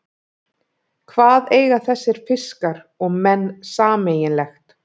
Hvað eiga þessir fiskar og menn sameiginlegt?